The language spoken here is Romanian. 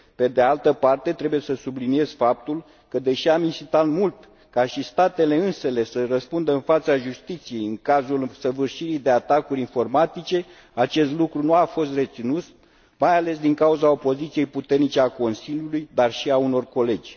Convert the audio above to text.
Pe de altă parte, trebuie să subliniez faptul că, deși am insistat mult ca și statele însele să răspundă în fața justiției în cazul săvârșirii de atacuri informatice, acest lucru nu a fost reținut, mai ales din cauza opoziției puternice a Consiliului, dar și a unor colegi.